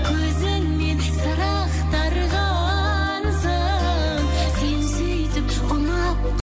көзіңмен сыр ақтарғансың сен сөйтіп ұнап